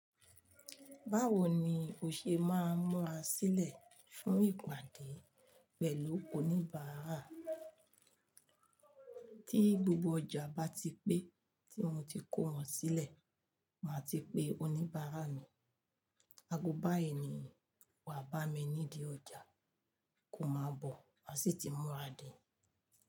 Báwo ni o ṣe máa múra sílẹ̀ fún ìpàdé pẹ̀lú oníbàárà? Tí gbogbo ọjà bá ti pé tí mo ti kó wọn sílẹ̀, máa ti pe oníbárà mi. Aago báyìí ni wà bá mi nídi ọjà, kó má bọ̀, a sì ti múra dé.